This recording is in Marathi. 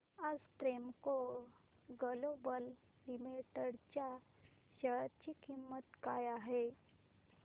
आज प्रेमको ग्लोबल लिमिटेड च्या शेअर ची किंमत काय आहे